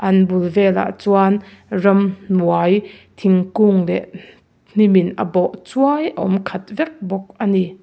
an bul velah chuan ramhnuai thingkung leh hnim in a bawh chuai a awm khat vek bawk a ni.